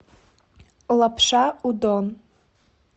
лапша удон